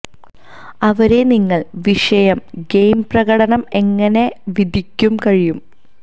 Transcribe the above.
അവരെ നിങ്ങൾ വിഷയം ഗെയിം പ്രകടനം എങ്ങനെ വിധിക്കും കഴിയും